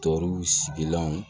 Tɔw sigilanw